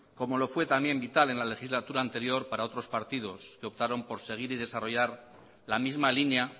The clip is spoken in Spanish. como lo fue también vital en la legislatura anterior para otros partidos que optaron por seguir y desarrollar la misma línea